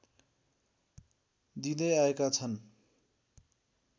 दिँदै आएका छन्